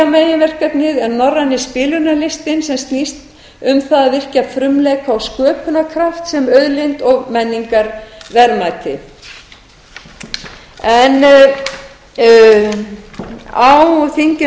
meginverkefnið er norræni spilunarlistinn sem snýst um það að virkja frumleika og sköpunarkraft sem auðlind og menningarverðmæti á þingi